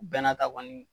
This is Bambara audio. Bɛɛ n'a ta kɔni